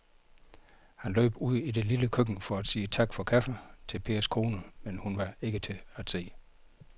Han løb ud i det lille køkken for at sige tak for kaffe til Pers kone, men hun var ikke til at se.